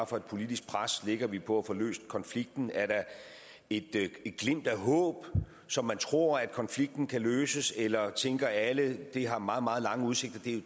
for et politisk pres lægger vi på at få løst konflikten er der et glimt af håb så man tror at konflikten kan løses eller tænker alle at det har meget meget lange udsigter det